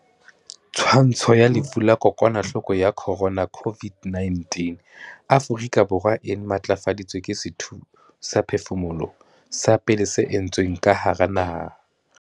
Twantsho ya lefu la kokwanahloko ya corona COVID-19 Afrika Borwa e matlafaditswe ke sethusaphefumoloho sa pele se entsweng ka hara naha.